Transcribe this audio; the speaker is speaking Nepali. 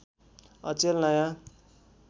अचेल नयाँ